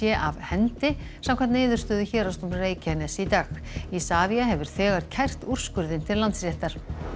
af hendi samkvæmt niðurstöðu Héraðsdóms Reykjaness í dag Isavia hefur þegar kært úrskurðinn til Landsréttar